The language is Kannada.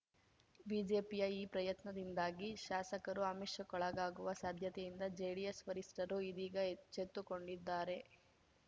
ಬಿಜೆಪಿಯ ಈ ಪ್ರಯತ್ನದಿಂದಾಗಿ ಶಾಸಕರು ಆಮಿಷಕ್ಕೊಳಗಾಗುವ ಸಾಧ್ಯತೆಯಿಂದ ಜೆಡಿಎಸ್‌ ವರಿಷ್ಠರು ಇದೀಗ ಎಚ್ಚೆತ್ತುಕೊಂಡಿದ್ದಾರೆ